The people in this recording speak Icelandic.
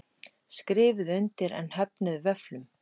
Skrifuðu undir en höfnuðu vöfflum